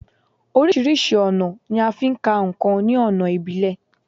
Orísirísi ọ̀nà ni a ń fí ka ǹkan ní ọ̀nà ìbílẹ̀